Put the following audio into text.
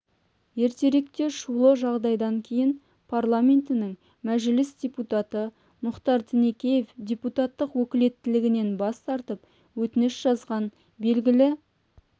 ертеректе шулы жағдайдан кейін парламентінің мәжіліс депутаты мұхтар тінікеев депутаттық өкілеттілігінен бас тартып өтініш жазғаны белгілі